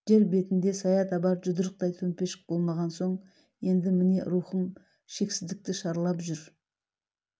жер бетінде сая табар жұдырықтай төмпешік болмаған соң енді міне рухым шексіздікті шарлап жүр